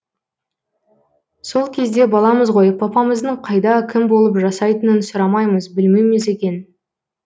сол кезде баламыз ғой папамыздың қайда кім болып жасайтынын сұрамаймыз білмейміз екен